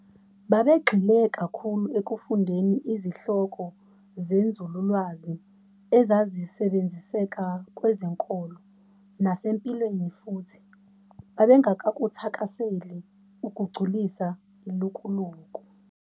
Babegxile kakhulu ekufundeni izihloko zenzululwazi ezazisebenziseka kwezenkolo nasempilweni futhi babengakuthakaseli ukugculisa ilukuluku.